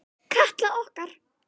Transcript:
Elsku Katla okkar.